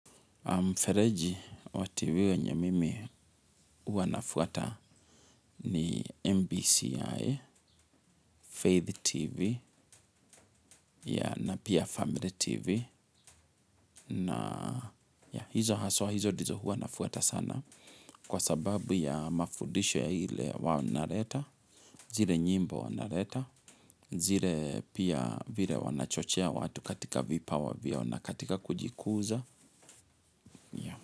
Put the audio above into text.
Mfereji wa tv wenye mimi huwa nafuata ni MBCI, Faith TV na pia Family TV na hizo haswa hizo ndizo huwa nafuata sana kwa sababu ya mafudisho ya ile wanaleta, zile nyimbo wanaleta, zile pia vile wanachochea watu katika vipawa vyao na katika kujikuza.